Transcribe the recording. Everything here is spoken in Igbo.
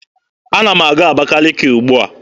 Ana m aga Abakaliki ugbua.